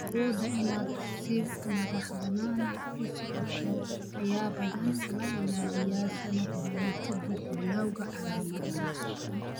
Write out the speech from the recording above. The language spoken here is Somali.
Awooda inaad si madaxbanaan u socoto ayaa badanaa la ilaaliyaa sanado badan ka dib bilawga calaamadaha.